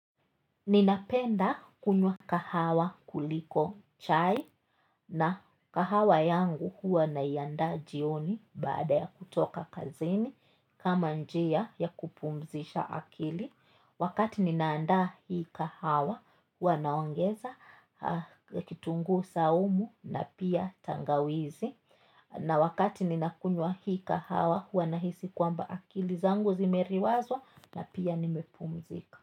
Ninapenda kunywa kahawa kuliko chai na kahawa yangu huwa naiandaa jioni baada ya kutoka kazini kama njia ya kupumzisha akili. Wakati ninaandaa hii kahawa huwa naongeza kitunguu saumu na pia tangawizi. Na wakati nina kunywa hii kahawa huwa na hisi kwamba akili zangu zimeriwazwa na pia nimepumzika.